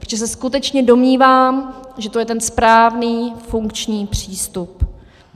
Protože se skutečně domnívám, že to je ten správný funkční přístup.